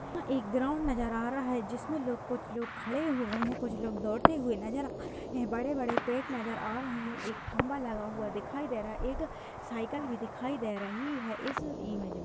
यहाँ एक ग्राउंड नजर आ रहा है। जिसमें लोग कुछ लोग खड़े हुए हैं कुछ लोग दौड़ते हुए नज़र आ रहे हैं बड़े-बड़े पेड़ नजर आ रहे हैं। एक खंभा लगा हुआ दिखाई दे रहा है। एक साइकिल भी दिखाई दे रही है इस इमेज में।